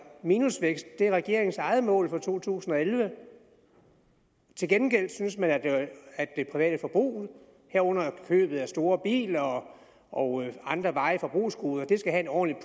minusvækst er regeringens eget mål for to tusind og elleve til gengæld synes man at det private forbrug herunder køb af store biler og og andre varige forbrugsgoder skal have et ordentligt